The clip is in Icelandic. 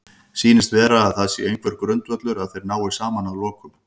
Sýnist vera að það sé einhver grundvöllur að þeir nái saman að lokum?